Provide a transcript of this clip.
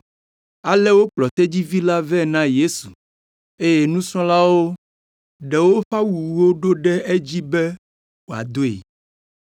Ale wokplɔ tedzivi la vɛ na Yesu eye nusrɔ̃lawo ɖe woƒe awuwo ɖo ɖe edzi be wòadoe.